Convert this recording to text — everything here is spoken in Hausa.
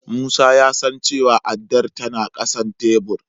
Musa ya san cewa addar tana ƙasan tebur.